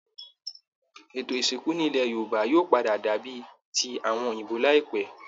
Ètó ìsìnkú nílẹ̀ Yorùbá yóò pàdà dàbí i ti àwọn òyìnbó láìpẹ́